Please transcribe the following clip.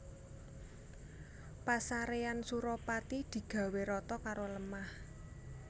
Pasarean Suropati digawé rata karo lemah